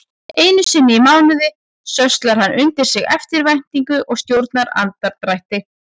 Einusinni í mánuði sölsar hann undir sig eftirvæntingu og stjórnar andardrætti.